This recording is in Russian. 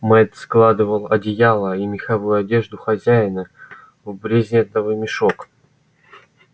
мэтт складывал одеяла и меховую одежду хозяина в брезентовый мешок